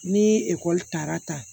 N'i ye ekɔli taara ta